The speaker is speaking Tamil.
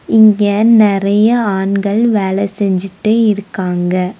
இங்க நெறைய ஆண்கள் வேலை செஞ்சுட்டே இருக்காங்க.